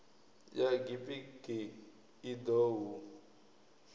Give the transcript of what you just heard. ya gpg i ḓo hu